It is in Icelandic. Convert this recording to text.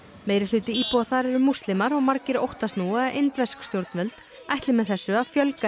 meirihluti íbúa þar eru múslimar og margir óttast nú að indversk stjórnvöld ætli með þessu fjölga